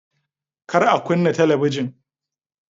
Kar a kunna talabijin!